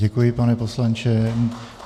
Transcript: Děkuji, pane poslanče.